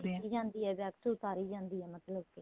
ਖਿੱਚੀ ਜਾਂਦੀ ਏ wax ਉਤਾਰੀ ਜਾਂਦੀ ਏ ਮਤਲਬ ਕੀ